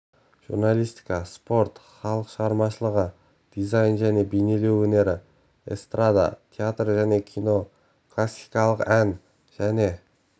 журналистика спорт халық шығармашылығы дизайн және бейнелеу өнері эстрада театр және кино классикалық ән және